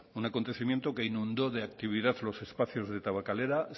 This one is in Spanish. un acontecimiento que inundó de actividad los espacios de tabakalera